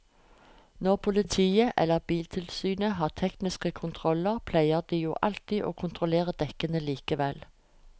Når politiet eller biltilsynet har tekniske kontroller pleier de jo alltid å kontrollere dekkene likevel.